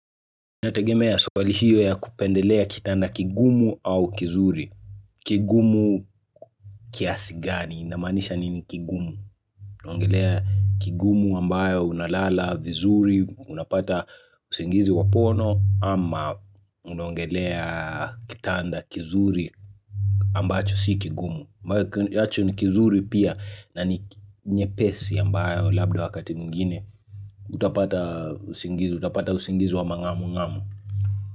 Inategemea swali hiyo ya kupendelea kitanda kigumu au kizuri. Kigumu kiasi gani, inamaanisha nini kigumu. Unaongelea kigumu ambayo unalala vizuri, unapata usingizi wapono, ama unaongelea kitanda kizuri ambacho si kigumu. Ambayo cho ni kizuri pia na ni nyepesi ambayo labda wakati mwingine Utapata usingizi, utapata usingizi wa mangamu ngamu.